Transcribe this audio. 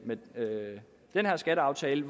den her skatteaftale